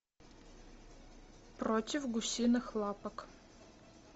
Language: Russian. против гусиных лапок